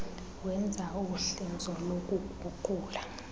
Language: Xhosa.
wenza uhlinzo lokuguqula